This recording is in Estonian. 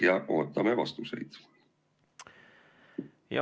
Aitäh ja ootame vastuseid!